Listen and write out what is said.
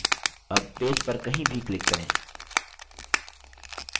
अब पेज पर कहीं भी click करें